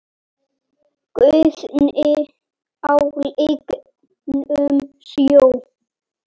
Guðni á lygnum sjó?